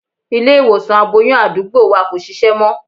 Ilé-ìwòsàn aboyún àdúgbò wa kò ṣiṣẹ́ mọ́.